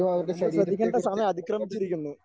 അതെ നമ്മൾ ശ്രദ്ധിക്കേണ്ട സമയം അതിക്രമിച്ചിരിക്കുന്നു.